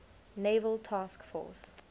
naval task force